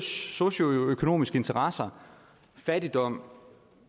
socioøkonomiske interesser fattigdom